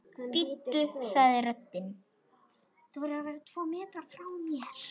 Bíddu sagði röddin.